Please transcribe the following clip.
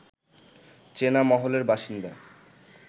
চেনা মহলের বাসিন্দা